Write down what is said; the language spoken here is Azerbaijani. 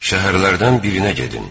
Şəhərlərdən birinə gedin.